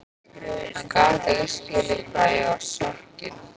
Hann gat ekki skilið í hvað ég var sokkin.